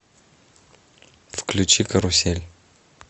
включи карусель